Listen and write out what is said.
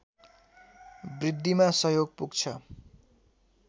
वृद्धिमा सहयोग पुग्छ